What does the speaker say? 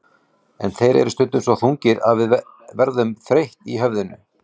En þeir eru stundum svo þungir að við verðum þreytt í höfðinu.